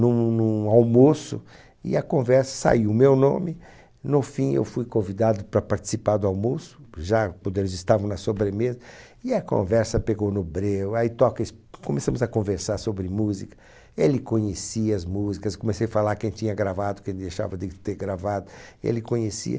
num num almoço, e a conversa, saiu o meu nome, no fim eu fui convidado para participar do almoço, já quando eles estavam na sobremesa, e a conversa pegou no breu, aí toca es, começamos a conversar sobre música, ele conhecia as músicas, comecei a falar quem tinha gravado, quem deixava de ter gravado, ele conhecia,